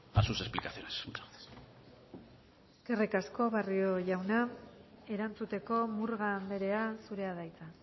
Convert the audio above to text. a sus explicaciones muchas gracias eskerrik asko barrio jauna erantzuteko murga anderea zurea da hitza